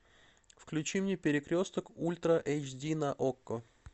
включи мне перекресток ультра эйч ди на окко